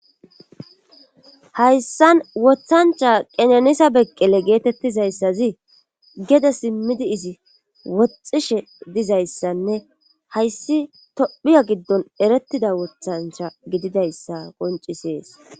hayssan wothancha qenanisa beqqele geetettizayssazi gede simmidi izi woxxishe dizayssanne hayssi tophiya giddon erettida woththancha gididayssa qoncisees